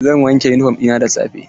Zan wanke yunifom ɗina da safe.